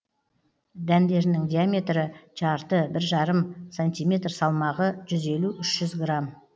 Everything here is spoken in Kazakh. дәндерінің диаметрі жарты бір жарым сантиметр салмағы жүз елу үш жүз грамм